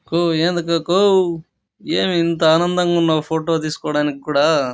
కో ఏంది కాకో ఏమి ఇంత ఆనందంగా ఉన్నావు ఫోటో తీస్కొడానికి కూడా --